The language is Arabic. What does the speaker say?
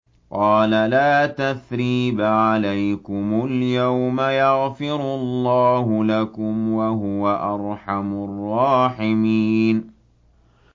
قَالَ لَا تَثْرِيبَ عَلَيْكُمُ الْيَوْمَ ۖ يَغْفِرُ اللَّهُ لَكُمْ ۖ وَهُوَ أَرْحَمُ الرَّاحِمِينَ